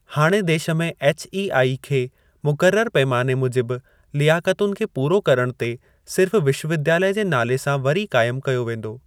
हाणे देश में एचईआई खे मुक़रर पैमाने मूजिबि लियाकतुनि खे पूरो करण ते सिर्फ़ 'विश्वविद्यालय' जे नाले सां वरी काइमु कयो वेंदो।